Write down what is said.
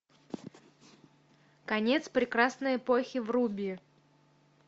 конец прекрасной эпохи вруби